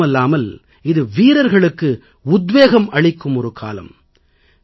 அது மட்டுமில்லாமல் இது வீரர்களுக்கு உத்வேகம் அளிக்கும் ஒரு காலம்